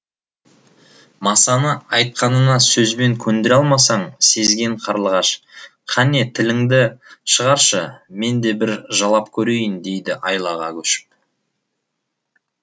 масаны айтқанына сөзбен көндіре алмасын сезген қарлығаш қане тіліңді шығаршы мен де бір жалап көрейін дейді айлаға көшіп